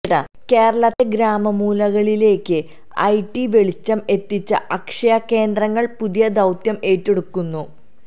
കേരളത്തിന്റെ ഗ്രാമമൂലകളിലേക്ക് I T വെളിച്ചം എത്തിച്ച അക്ഷയ കേന്ദ്രങ്ങള് പുതിയ ദൌത്യം ഏറ്റെടുക്കുന്നു